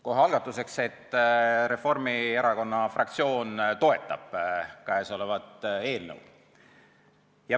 Kohe alguseks: Reformierakonna fraktsioon toetab käesolevat eelnõu.